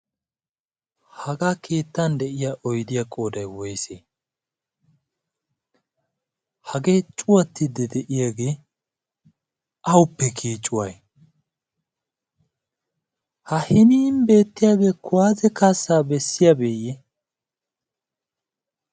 hagaa keettan de'iyaa oyddiyaa qooday woysee? hagee cuuyyattiidi de'iyaagee awuppe kiyay? ha hiini bettiyaagee kuwaasiyaa kaassaa bessiyaabeye?